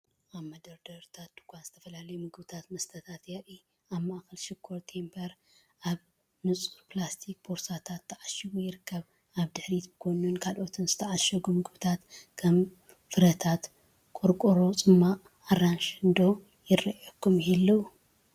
ኣብ መደርደሪ ድኳን ዝተፈላለዩ ምግብታትን መስተታትን የርኢ። ኣብ ማእከል ሽኮር ቴምብር ኣብ ንጹር ፕላስቲክ ቦርሳታት ተዓሺጉ ይርከብ። ኣብ ድሕሪትን ብጎኒን ካልኦት ዝተዓሸጉ ምግብታት (ከም ፍረታት)ን ቆርቆሮ ጽማቝ ኣራንሺን ዶ ይራኣዩኹም ይህልው?